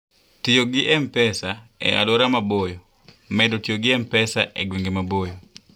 Tiyo gi M-Pesa e Alwora Maboyo: Medo tiyo gi M-Pesa e gwenge maboyo.